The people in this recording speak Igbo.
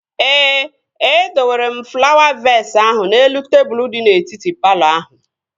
Ee, e dowere m flawa vees ahụ n'elu tebụl di n'etiti palọ ahụ